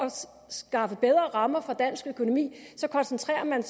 skaffe bedre rammer for dansk økonomi koncentrerer man